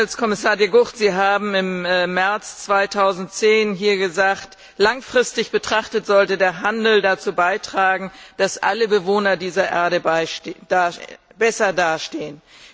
Herr Handelskommissar De Gucht, Sie haben im März 2010 hier gesagt Langfristig betrachtet sollte der Handel dazu beitragen, dass alle Bewohner dieser Erde besser dastehen.